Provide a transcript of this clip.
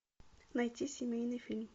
найти семейный фильм